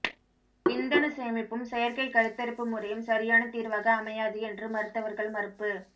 விந்தணு சேமிப்பும் செயற்கை கருத்தரிப்பு முறையும் சரியான தீர்வாக அமையாது என்று மருத்துவர்கள் மறுப்பு